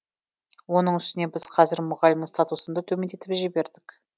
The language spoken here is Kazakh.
оның үстіне біз қазір мұғалімнің статусын да төмендетіп жібердік